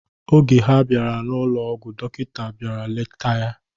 Oge ha bịara n'ụlọ ọgwụ, dọkịta bịara letacha ya.